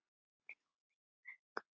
Rjóða í vöngum.